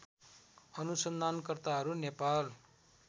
अनुसन्धानकर्ताहरू Nepal